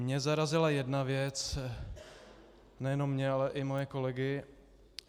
Mě zarazila jedna věc - nejenom mě, ale i mé kolegy.